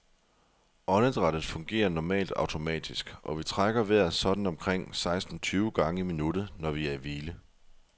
Åndedrættet fungerer normalt automatisk, og vi trækker vejret sådan omkring seksten tyve gange i minuttet, når vi er i hvile.